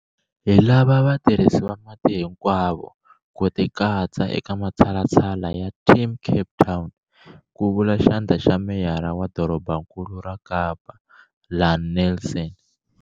Hi lava vatirhisi va mati hinkwavo ku tikatsa eka matshalatshala ya Team Cape Town, ku vula Xandla xa Meyara wa Dorobankulu ra Kapa Ian Neilson.